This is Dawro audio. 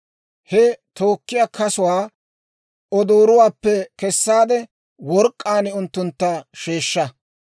He tookkiyaa kasuwaa odooruwaappe kessaade, work'k'aan unttuntta sheeshsha.